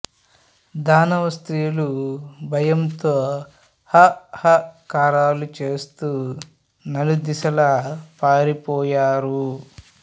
దానవస్త్రీలు భయముతో హా హా కారాలు చేస్తూ నలుదిశలా పారిపోయారు